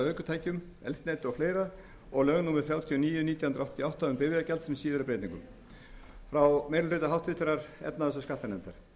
ökutækjum eldsneyti og fleiri og lögum númer þrjátíu og níu nítján hundruð áttatíu og átta um bifreiðagjald með síðari breytingum frá meiri hluta háttvirtrar efnahags og skattanefndar